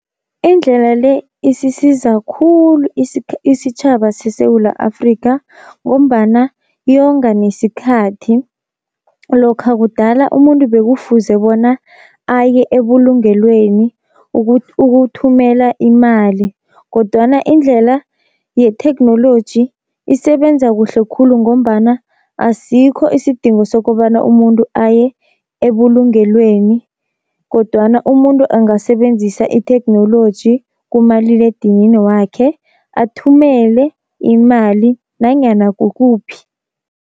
Indlela le isisiza khulu isitjhaba seSewula Afrika, ngombana yonga nesikhathi. Lokha kudala umuntu bekufuze bona aye ebulungelweni ukuthumela imali, kodwana indlela yetheknoloji isebenza kuhle khulu, ngombana asikho isidingo sokobana umuntu aye ebulungelweni. Kodwana umuntu angasebenzisa itheknoloji kumaliledinini wakhe athumele imali nanyana kukuphi.